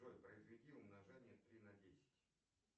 джой произведи умножение три на десять